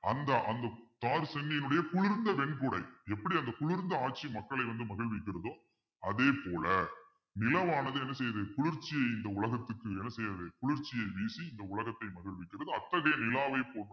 அந்த அந்த குளிர்ந்த வெண்குடை எப்படி அந்த குளிர்ந்த ஆட்சி மக்களை வந்து மகிழ்விக்கிறதோ அதே போல நிலமானது என்ன செய்யுது குளிர்ச்சி இந்த உலகத்துக்கு என்ன செய்யுது குளிர்ச்சியை வீசி இந்த உலகத்தை மகிழ்ச்சி அத்தகைய நிலாவை